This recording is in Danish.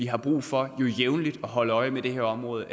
har brug for at holde øje med det her område